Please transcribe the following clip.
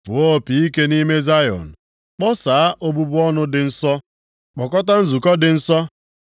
Fụọ opi ike nʼime Zayọn. Kpọsaa obubu ọnụ dị nsọ. Kpọkọta nzukọ dị nsọ.